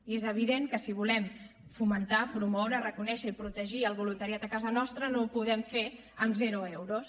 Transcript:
i és evident que si volem fomentar promoure reconèixer i protegir el voluntariat a casa nostra no ho podem fer amb zero euros